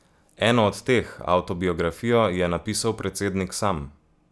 Eno od teh, avtobiografijo, je napisal predsednik sam.